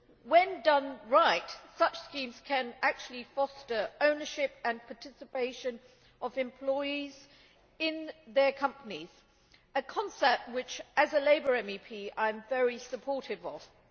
when done right, such schemes can actually foster ownership and participation of employees in their companies a concept which, as a Labour MEP, I am very supportive of.